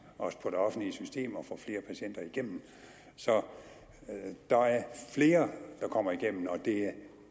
på det offentlige system og få flere patienter igennem så der er flere der kommer igennem og det er